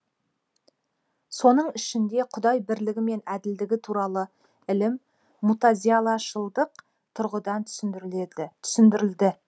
соның ішінде құдай бірлігі мен әділдігі туралы ілім мутазилашылдық тұрғыдан түсіндірілді